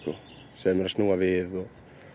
segja mér að snúa við og